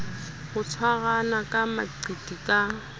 ho tshwarana ka maqiti ka